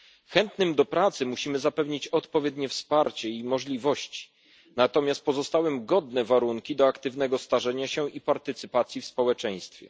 Chętnym do pracy musimy zapewnić odpowiednie wsparcie i możliwości, natomiast pozostałym godne warunki do aktywnego starzenia się i udziału w społeczeństwie.